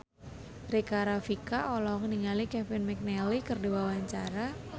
Rika Rafika olohok ningali Kevin McNally keur diwawancara